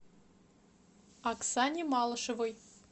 оксане малышевой